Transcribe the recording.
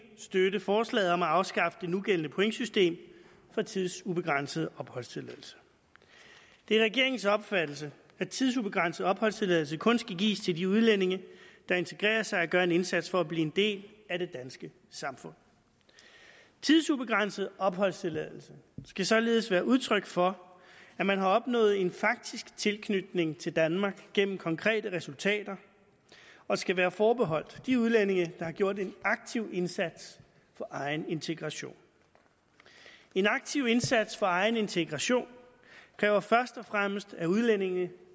støtte forslaget om at afskaffe det nugældende pointsystem for tidsubegrænset opholdstilladelse det er regeringens opfattelse at tidsubegrænset opholdstilladelse kun skal gives til de udlændinge der integrerer sig og gør en indsats for at blive en del af det danske samfund tidsubegrænset opholdstilladelse skal således være udtryk for at man har opnået en faktisk tilknytning til danmark gennem konkrete resultater og skal være forbeholdt de udlændinge der har gjort en aktiv indsats for egen integration en aktiv indsats for egen integration kræver først og fremmest at udlændinge